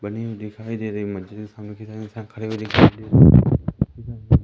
बने हुए दिखाई दे रहे मुझे खड़े हुए दिखाई दे रहे--